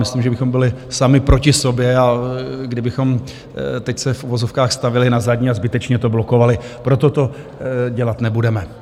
Myslím, že bychom byli sami proti sobě, kdybychom se teď v uvozovkách stavěli na zadní a zbytečně to blokovali, proto to dělat nebudeme.